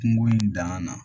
Kungo in danga na